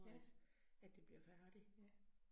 Ja. Ja